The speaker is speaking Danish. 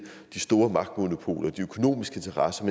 de store magtmonopoler de økonomiske interesser